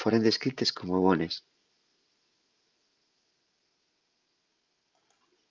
foren descrites como bones